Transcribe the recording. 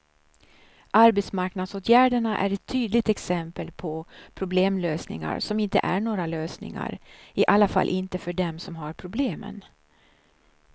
Arbetsmarknadsåtgärderna är ett tydligt exempel på problemlösningar som inte är några lösningar, i alla fall inte för dem som har problemen.